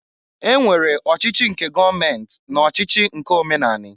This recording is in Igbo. E nwere ọchịchị nke gọọment na ọchịchị nke omenani.